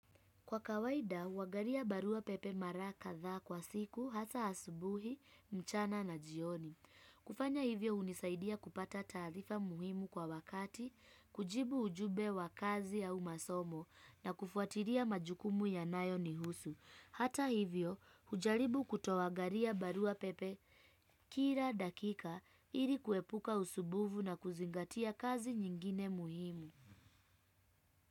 Kwa kawaida, huangalia barua pepe mara kadhaa kwa siku, hasa asubuhi, mchana na jioni. Kufanya hivyo hunisaidia kupata taarifa muhimu kwa wakati, kujibu ujumbe wa kazi au masomo na kufuatilia majukumu yanayo nihusu. Hata hivyo, hujaribu kutoangalia barua pepe kila dakika ili kuepuka usumbufu na kuzingatia kazi nyingine muhimu.